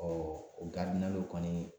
Ɔɔ o garidinaluw kɔni